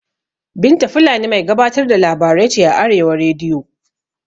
Binta fulani mai gabatar da labarai ce a arewa rediyo